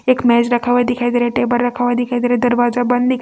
एक मेज रखा हुआ दिखाई दे रहा है टेबल रखा हुआ दिखाई दे रहा है दरवाजा बंद--